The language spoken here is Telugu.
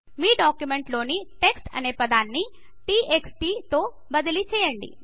మీ డాక్యుమెంట్ లోని టెక్స్ట్ అనే పదాన్ని t x t తో బదిలీ చేయండి